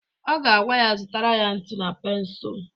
Ọ ga-agwa ya zụtara ya ntu na pensul!